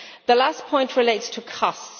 My last point relates to costs.